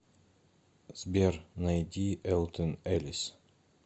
сбер найди элтон эллис